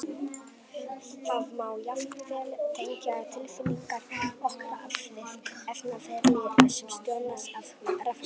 Það má jafnvel tengja tilfinningar okkar við efnaferli sem stjórnast af rafkröftum!